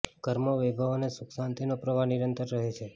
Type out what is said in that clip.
ઘરમાં વૈભવ અને સુખ શાંતિનો પ્રવાહ નિરંતર રહે છે